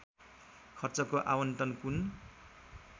खर्चको आवन्टन कुन